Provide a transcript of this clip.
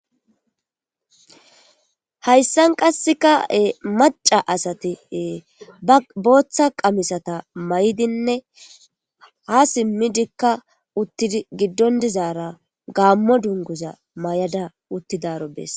hayssan qasseka7e maca asati booththa qamisata may7dinne ha simmidikka uttidi giddon dizaara gaammo dunguza may7ada uttidaro bees